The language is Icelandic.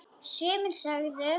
Sumir sögðu: